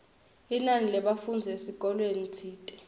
linani lebafundzi esikolweni tsite